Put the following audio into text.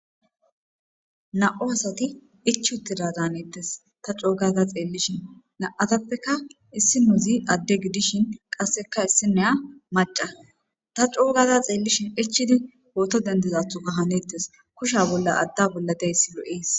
Na7u asati ichuttida daanettes ta coogaza xeellishin na7atappeka issi nuuzi adde gidishin qasseka issineya maca ta coogaza xeellishin ichidi ooto dentezathu ga hanettes kusha bolla adda bolla deysi lo7ees.